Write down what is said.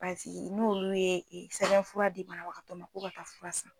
Pasiki nu olu ye sɛbɛnfura di banabagatɔ ma k'u ka taa fura san.